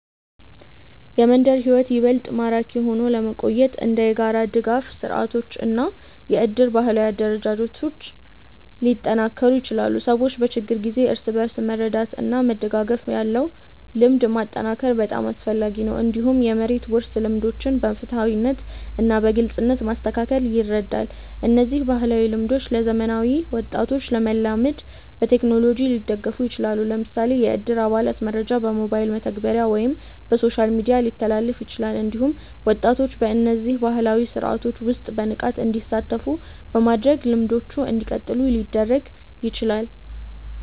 የመንደር ሕይወት ይበልጥ ማራኪ ሆኖ ለመቆየት እንደ የጋራ ድጋፍ ስርዓቶች እና የእድር ባህላዊ አደረጃጀቶች ሊጠናከሩ ይችላሉ። ሰዎች በችግር ጊዜ እርስ በርስ መርዳት እና መደጋገፍ ያለው ልምድ ማጠናከር በጣም አስፈላጊ ነው። እንዲሁም የመሬት ውርስ ልምዶችን በፍትሃዊነት እና በግልጽነት ማስተካከል ይረዳል። እነዚህ ባህላዊ ልምዶች ለዘመናዊ ወጣቶች ለመላመድ በቴክኖሎጂ ሊደገፉ ይችላሉ። ለምሳሌ የእድር አባላት መረጃ በሞባይል መተግበሪያ ወይም በሶሻል ሚዲያ ሊተላለፍ ይችላል። እንዲሁም ወጣቶች በእነዚህ ባህላዊ ስርዓቶች ውስጥ በንቃት እንዲሳተፉ በማድረግ ልምዶቹ እንዲቀጥሉ ሊደረግ ይችላል።